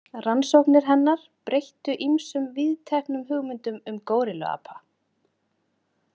Rannsóknir hennar breyttu ýmsum víðteknum hugmyndum um górilluapa.